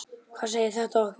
Hvað segir þetta okkur?